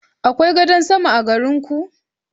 Akwai gadan sama a garin ku?